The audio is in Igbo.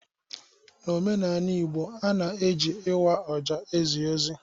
N'omenanị Igbo a na e ji ịwa ajo ezi ozi.